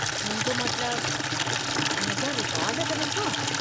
मुंहिंजो मतिलबु, हुन जा रिकार्ड त ॾिसो।